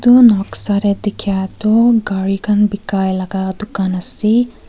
eto noksa teh tekia toh gari kan beka laga Tu kan aseee.